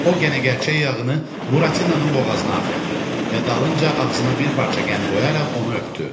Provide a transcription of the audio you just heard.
O qənə gərçək yağını Buratinanın boğazına axıtdı və dalınca ağzına bir parça qənd qoyaraq onu öpdü.